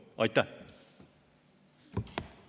Aitäh!